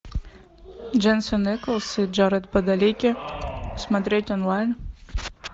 дженсен эклз и джаред падалеки смотреть онлайн